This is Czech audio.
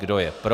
Kdo je pro?